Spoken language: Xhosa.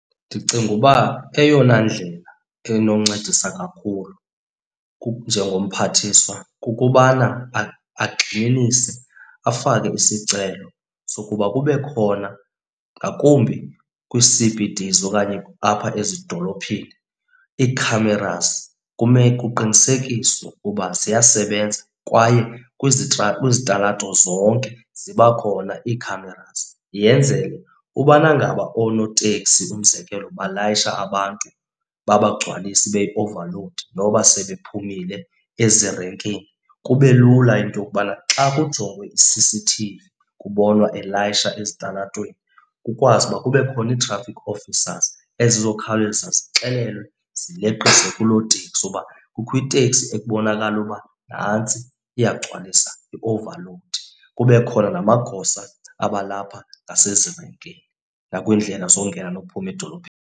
Ndicinga uba eyona ndlela enoncedisa kakhulu njengomphathiswa kukubana agxininise, afake isicelo sokuba kube khona ngakumbi kwii-C_B_Ds okanye apha ezidolophini ii-cameras. Kuqinisekiswe uba ziyasebenza kwaye kwizitalato zonke ziba khona ii-cameras yenzele ubana ngaba oonoteksi, umzekelo balayishe abantu babagcwalise ibe yi-overload noba sebephumile ezirenkini, kube lula into yokubana xa kujongwe i-C_C_T_V kubonwa elayisha ezitalatweni. Kukwazi uba kube khona ii-traffic officers ezizokhawuleza zixelelwe zileqise kuloo teksi uba kukho iteksi ekubonakala uba nantsi iyagcwalis, yi-over load. Kube khona namagosa abalapha nasezirenkini nakwiindlela zongena nokuphuma .